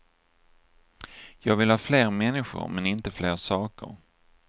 Jag vill ha fler människor, men inte fler saker.